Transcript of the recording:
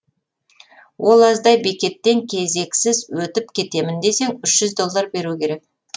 ол аздай бекеттен кезексіз өтіп кетемін десең үш жүз доллар беру керек